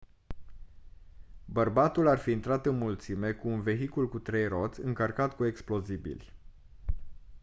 bărbatul ar fi intrat în mulțime cu un vehicul cu trei roți încărcat cu explozibili